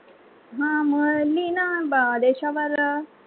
हा म लिहिणं मग देशावर.